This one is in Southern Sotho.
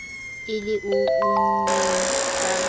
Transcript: e le o unneng ka